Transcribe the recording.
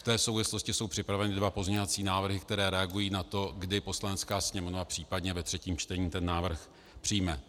V té souvislosti jsou připraveny dva pozměňovací návrhy, které reagují na to, kdy Poslanecká sněmovna případně ve třetím čtení ten návrh přijme.